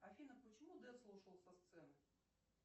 афина почему децл ушел со сцены